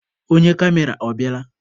Onye kamera ọ bịala?